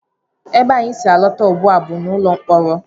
Ebe anyị si alọta ugbu a bụ ụlọ mkpọrọ